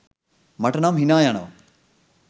මට නම් හිනා යනවා.